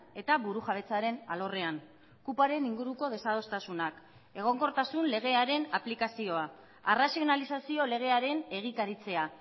eta burujabetzaren alorrean kupoaren inguruko desadostasunak egonkortasun legearen aplikazioa arrazionalizazio legearen egikaritzea